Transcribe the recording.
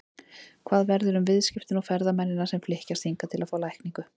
Hvað verður um viðskiptin og ferðamennina sem flykkjast hingað til að fá lækningu?